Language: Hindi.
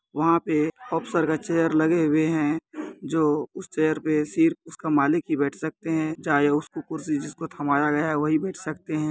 वह पे ऑफसर के चेयर लगे हुए है जो उस चेयर पर सिर्फ उसका मालिक ही बैठ सकते हैं चाहे उसको कुर्शी जिसको थमाया गया है वही बैठ सकते हैं।